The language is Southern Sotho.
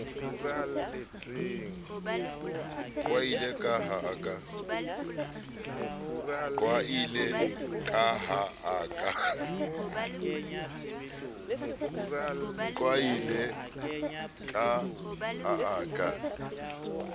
qwaile ka ha a ka